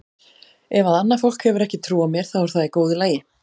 Ef að annað fólk hefur ekki trú á mér þá er það í góðu lagi.